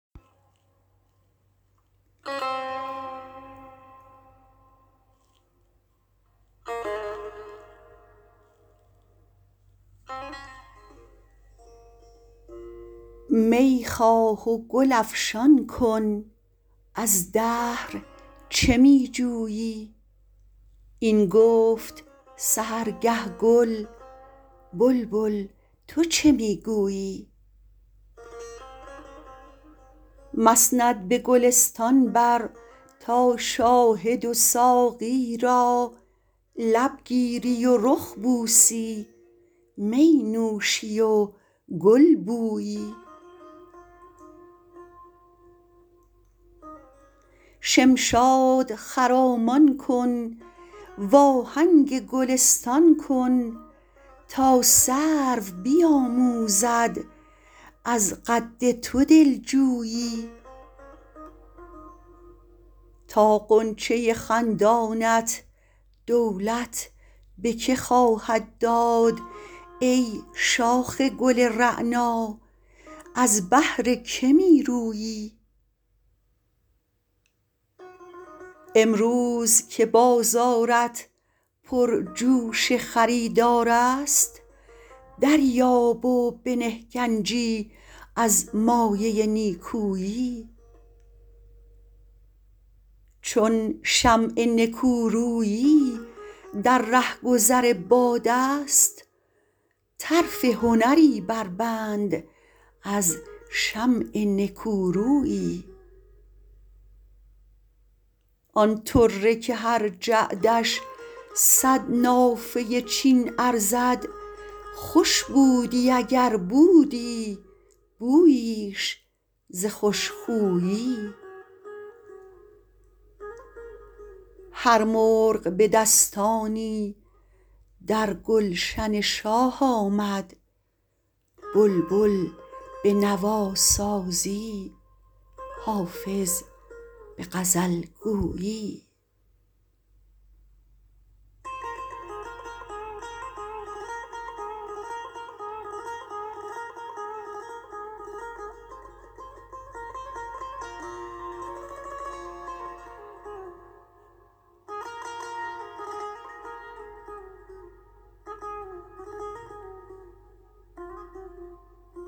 می خواه و گل افشان کن از دهر چه می جویی این گفت سحرگه گل بلبل تو چه می گویی مسند به گلستان بر تا شاهد و ساقی را لب گیری و رخ بوسی می نوشی و گل بویی شمشاد خرامان کن وآهنگ گلستان کن تا سرو بیآموزد از قد تو دل جویی تا غنچه خندانت دولت به که خواهد داد ای شاخ گل رعنا از بهر که می رویی امروز که بازارت پرجوش خریدار است دریاب و بنه گنجی از مایه نیکویی چون شمع نکورویی در رهگذر باد است طرف هنری بربند از شمع نکورویی آن طره که هر جعدش صد نافه چین ارزد خوش بودی اگر بودی بوییش ز خوش خویی هر مرغ به دستانی در گلشن شاه آمد بلبل به نواسازی حافظ به غزل گویی